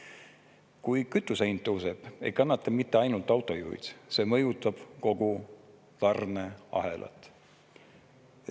Kui kütuse hind tõuseb, ei kannata mitte ainult autojuhid, see mõjutab kogu tarneahelat.